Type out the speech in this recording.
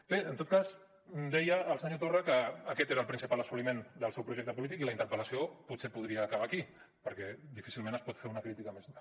bé en tot cas deia el senyor torra que aquest era el principal assoliment del seu projecte polític i la interpel·lació potser podria acabar aquí perquè difícilment es pot fer una crítica més dura